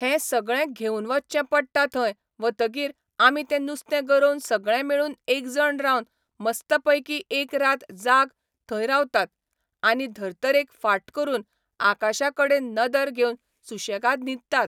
हें सगळें घेवन वच्चें पडटा थंय वतगीर आमी ते नुस्तें गरोवन सगळें मेळून एकजण रावन मस्त पैकी एक रात जाग थंय रावतात आनी धर्तरेक फाट करून आकाशा कडेन नदर घेवन सुशेंगाद न्हिदतात